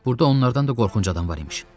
Burda onlardan da qorxunc adam var imiş.